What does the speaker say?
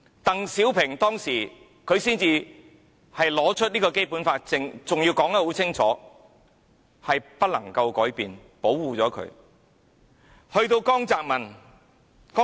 鄧小平當時才把《基本法》拿出來，還說得很清楚，要保護香港不能改變。